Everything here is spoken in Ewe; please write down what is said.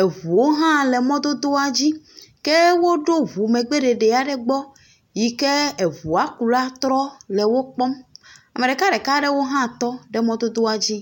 Eŋuwo hã le mɔdodoa dzi. Ke woɖo ŋu megbe ɖeɖe aɖe gbɔ yi ke eŋuakula trɔ le wokpɔm. Ame ɖekaɖeka aɖewo hã tɔ ɖe mɔdodoa dzi.